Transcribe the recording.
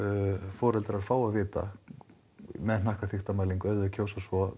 foreldrar fá að vita með hnakkaþykktarmælingu ef þau kjósa svo